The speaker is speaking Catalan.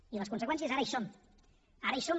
i les conseqüències ara hi són ara hi són